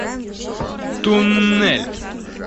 туннель